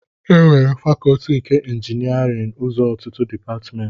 Ekewara Fakọọti nke Injiniarin ụzọ ọtụtụ Depatmentị